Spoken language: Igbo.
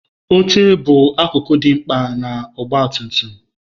Oche bụ akụkụ dị mkpa nke ọgba tum tum